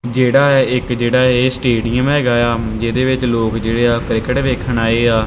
ਜੇਹੜਾ ਇਹ ਇੱਕ ਜਿਹੜਾ ਇਹ ਸਟੇਡੀਅਮ ਹੈਗਾ ਯਾ ਜਿਹਦੇ ਵਿੱਚ ਲੋਕ ਜੇਹੜੇ ਆ ਕ੍ਰਿਕਟ ਵੇਖਣ ਆਏ ਯਾ।